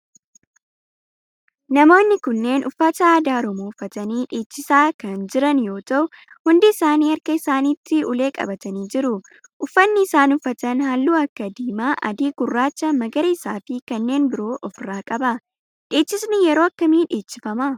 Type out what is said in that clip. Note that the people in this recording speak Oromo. Namoonni kunneen uffata aadaa oromoo uffatanii dhiichisaa ka jira yoo ta'u hundi isaanii harka isaanitti ulee qabatanii jiru. uffanni isaan uffatan halluu akka diimaa, adii, gurraacha, magarisaa fi kanneen biroo of irraa qaba. dhiichisni yeroo akkamii dheechifama?